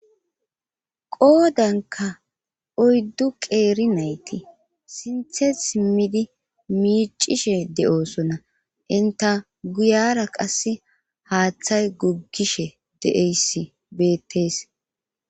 Qoodanka oyddu qeeri nayti sinthe simmidi miicishe de'osona inta guyara qass haaththay guggishe de'eyssi beettees.